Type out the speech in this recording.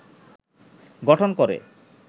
গঠন করে